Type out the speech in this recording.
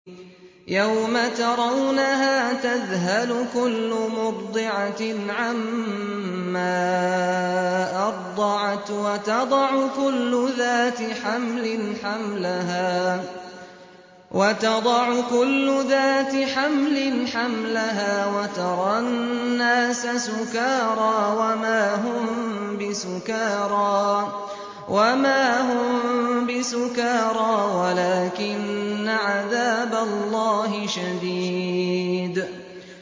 يَوْمَ تَرَوْنَهَا تَذْهَلُ كُلُّ مُرْضِعَةٍ عَمَّا أَرْضَعَتْ وَتَضَعُ كُلُّ ذَاتِ حَمْلٍ حَمْلَهَا وَتَرَى النَّاسَ سُكَارَىٰ وَمَا هُم بِسُكَارَىٰ وَلَٰكِنَّ عَذَابَ اللَّهِ شَدِيدٌ